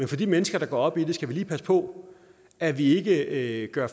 til de mennesker der går op i det skal vi lige passe på at vi ikke ikke gør